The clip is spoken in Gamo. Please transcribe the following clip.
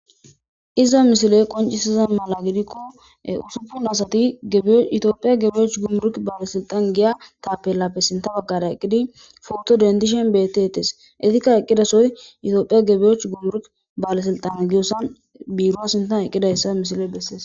Iza misile qoncisiza mala gidikko usupin asati yitoophiya gebeyoch gummurk baalesilxan giya taapelappe sinta baggada eqqidi fogto dendishen beettetes etikka eqqidasoy yitophiya gebeoch gumurk baalesilxan giyosan biiro sintan eqqidayssa misile bessees.